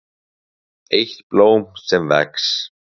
EITT BLÓM SEM VEX